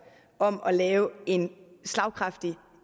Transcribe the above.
om at lave en slagkraftig